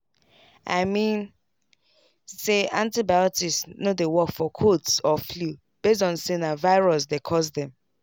i mean say antibiotics no dey work for colds or flu base on say na virus dey cause dem.